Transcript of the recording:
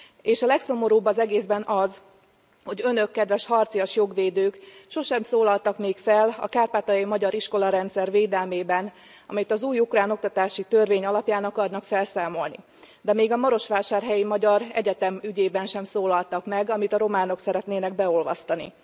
És a legszomorúbb az egészben az, hogy Önök, kedves harcias jogvédők, sosem szólaltak még fel a kárpátaljai magyar iskolarendszer védelmében, amit az új ukrán oktatási törvény alapján akarnak felszámolni, de még a marosvásárhelyi magyar egyetem ügyében sem szólaltak meg, amit a románok szeretnének beolvasztani.